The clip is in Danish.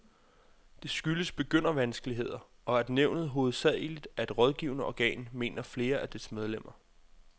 Det skyldes begyndervanskeligheder, og at nævnet hovedsageligt er et rådgivende organ, mener flere af dets medlemmer.